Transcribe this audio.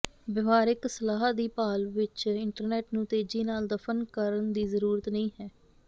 ਵਿਵਹਾਰਿਕ ਸਲਾਹ ਦੀ ਭਾਲ ਵਿਚ ਇੰਟਰਨੈੱਟ ਨੂੰ ਤੇਜ਼ੀ ਨਾਲ ਦਫਨ ਕਰਨ ਦੀ ਜ਼ਰੂਰਤ ਨਹੀਂ ਹੈ